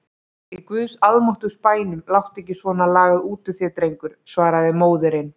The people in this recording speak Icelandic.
Í guðs almáttugs bænum láttu ekki svona lagað út úr þér drengur, svaraði móðirin.